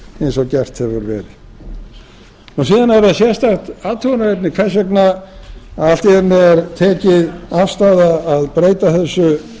verið síðan er það sérstakt athugunarefni hvers vegna að allt í einu er tekin afstaða að breyta þessu